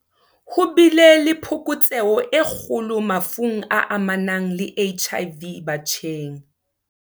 Ho bile le phokotseho e kgolo mafung a amanang le HIV batjheng.